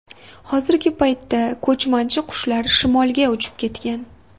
Hozirgi paytda ko‘chmanchi qushlar shimolga uchib ketgan.